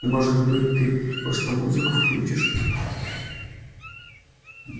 может быть ты просто музыку включишь